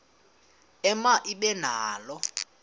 ema ibe nalo